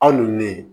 Aw ni ne ye